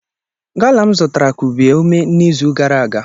Gala m zụtara kubie ume n'izu gara aga.